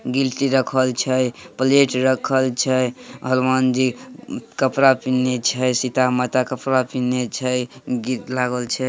गिलटी रखल छे। प्लेट रखल छे। हनुमान जी उम कपड़ा पिहनने छे। सीता माता कपड़ा पिहनने छे। गीत लागल छे।